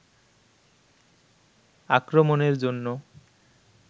আক্রমণের জন্য